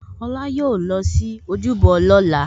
Olá yóò lọ sí ojúbọ lóla